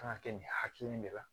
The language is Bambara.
Kan ka kɛ nin hakilina in de la